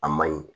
A ma ɲi